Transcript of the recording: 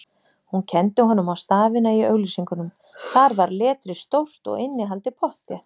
Hún kenndi honum á stafina í auglýsingunum, þar var letrið stórt og innihaldið pottþétt